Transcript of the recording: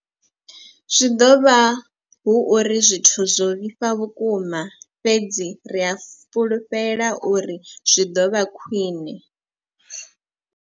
Zwi ḓo vha hu uri zwithu zwo vhifha vhukuma, fhedzi ri a fhulufhela uri zwi ḓo vha khwiṋe.